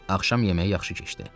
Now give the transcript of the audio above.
Axşam yeməyi yaxşı keçdi.